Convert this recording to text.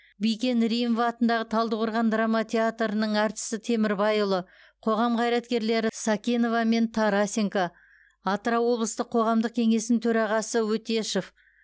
бикен римова атындағы талдықорған драма театрының әртісі темірбайұлы қоғам қайраткерлері сакенова мен тарасенко атырау облыстық қоғамдық кеңесінің төрағасы өтешов